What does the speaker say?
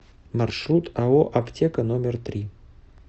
маршрут ао аптека номер три